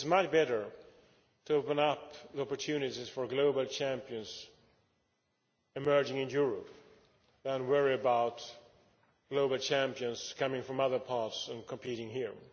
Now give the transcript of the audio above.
It is much better to open up the opportunities for global champions emerging in Europe than to worry about global champions coming from other parts and competing here.